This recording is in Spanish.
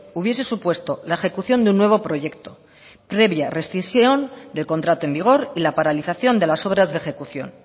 hubiese supuesto la ejecución de un nuevo proyecto previa rescisión de contrato en vigor y la paralización de las obras de ejecución